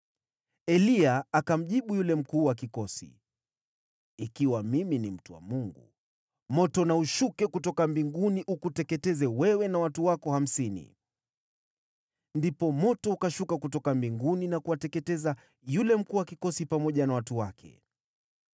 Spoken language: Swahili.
Eliya akamjibu yule mkuu wa kikosi, “Ikiwa mimi ni mtu wa Mungu, moto na ushuke kutoka mbinguni ukuteketeze wewe na watu wako hamsini!” Ndipo moto ukashuka kutoka mbinguni na kuwateketeza yule mkuu wa kikosi pamoja na watu wake.